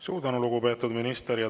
Suur tänu, lugupeetud minister!